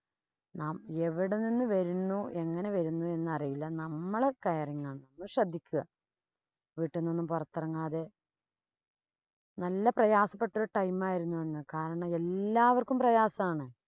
നാം എവിടെ നിന്ന് വരുന്നു, എങ്ങനെ വരുന്നു എന്നറിയില്ല. നമ്മള് caring ആകണം. നമ്മള് ശ്രദ്ധിക്കുക. വീട്ടീന്ന് ഒന്നും പൊറത്തിറങ്ങാതെ. നല്ല പ്രയാസപ്പെട്ട time ആയിരുന്നു അന്ന്. കാരണം എല്ലാവര്‍ക്കും പ്രയാസം ആണ്.